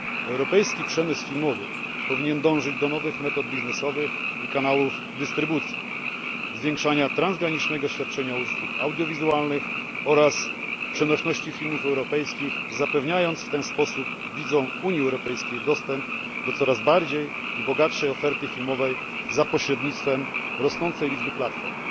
Europejski przemysł filmowy powinien dążyć do nowych metod biznesowych i kanałów dystrybucji, zwiększania transgranicznego świadczenia usług audiowizualnych oraz przenośności filmów europejskich, zapewniając w ten sposób widzom UE dostęp do coraz większej i bogatszej oferty filmowej za pośrednictwem rosnącej liczby platform.